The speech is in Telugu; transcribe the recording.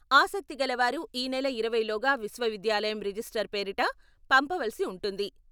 ఆసక్తి గల వారు ఈ నెల ఇరవైలోగా విశ్వవిద్యాలయం రిజిస్టార్ పేరిట పంపవలసి ఉంటుంది.